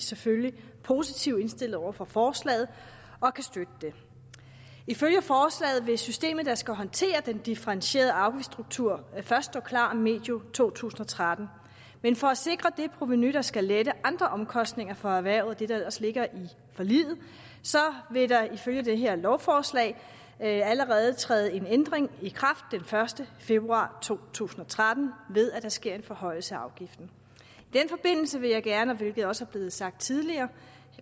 selvfølgelig positivt indstillet over for forslaget og kan støtte det ifølge forslaget vil systemet der skal håndtere den differentierede afgiftsstruktur først stå klar medio to tusind og tretten men for at sikre det provenu der skal lette andre omkostninger for erhvervet det der ellers ligger i forliget vil der ifølge det her lovforslag allerede træde en ændring i kraft den første februar to tusind og tretten ved at der sker en forhøjelse af afgiften i den forbindelse vil jeg gerne hvilket også er blevet sagt tidligere